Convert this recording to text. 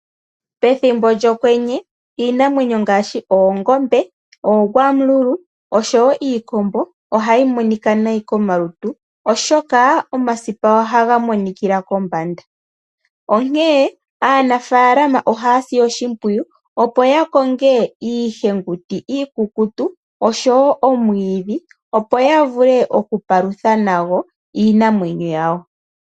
Pethimbo lyokwenye, iinamwenyo ngaashi oongombe, oogwamululu osho wo iikombo, oha yi monika nayi komalutu, oshoka omasipa oha ga monikila kombanda. Onkee aanafaalama oha ya si oshimpwiyu opo ya konge iihenguti, iikukutu, osho wo omwiidhi, opo ya vule oku palutha nayo iinamwenyo yawo.